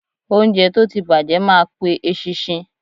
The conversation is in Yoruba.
Óúnjẹ tó ti bàjẹ́ ma pe eṣinṣin.